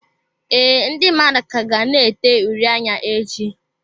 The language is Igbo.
Ee, ndị mmadụ ka ga na-ete uri anya echi.